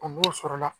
O b'o sɔrɔla